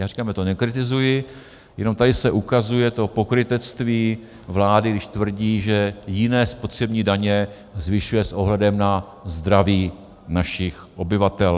Já říkám, já to nekritizuji, jenom tady se ukazuje to pokrytectví vlády, když tvrdí, že jiné spotřební daně zvyšuje s ohledem na zdraví našich obyvatel.